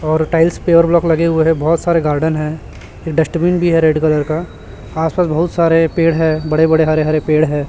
और tiles pure block लगे हुए हैं बहोत सारे गार्डन है फिर डस्टबिन भी है रेड कलर का आस पास बहुत सारे पेड़ है बड़े बड़े हरे हरे पेड़ है।